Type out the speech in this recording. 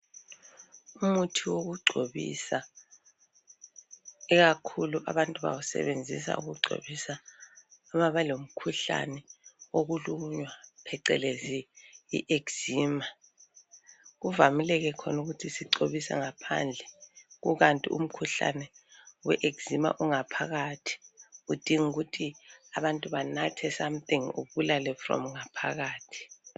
Umuthi wokugcobisa, ikakhulu abantu bawusebenzisa ukugcobisa uma belomkhuhlane wokulunywa pheqelezi ieczema. Kuvamile ke khona ukuthi sigcobise ngaphandle, kukanti umkhuhlane we eczema ungaphakathi. Kudinga ukuthi abantu banathe something ubulale from ngaphakathi.